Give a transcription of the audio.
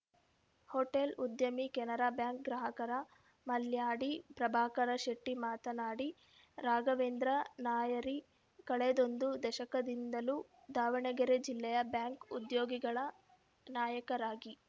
hotel ಉದ್ಯಮಿ Canara bank ಗ್ರಾಹಕರ ಮಲ್ಯಾಡಿ ಪ್ರಭಾಕರ ಶೆಟ್ಟಿಮಾತನಾಡಿ ರಾಘವೇಂದ್ರ ನಾಯರಿ ಕಳೆದೊಂದು ದಶಕದಿಂದಲೂ ದಾವಣಗೆರೆ ಜಿಲ್ಲೆಯ ಬ್ಯಾಂಕ್‌ ಉದ್ಯೋಗಿಗಳ ನಾಯಕರಾಗಿ